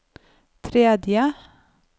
tredje